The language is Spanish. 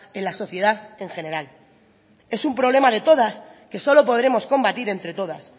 en la sociedad en general es un problema de todas que solo podremos combatir entre todas